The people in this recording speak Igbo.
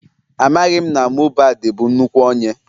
Amaghị m na Mohbad bụ nnukwu onye